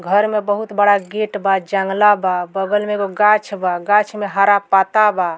घर में बहुत बड़ा गेट बा जंगला बा। बगल में एगो गाछ बा गाछ में हरा पत्ता बा।